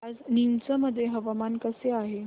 आज नीमच मध्ये हवामान कसे आहे